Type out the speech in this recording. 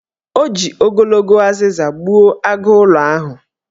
O ji ogologo azịza gbuo agụụlọ ahụ.